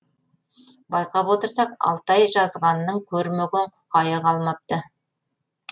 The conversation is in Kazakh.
байқап отырсақ алтай жазғанның көрмеген құқайы қалмапты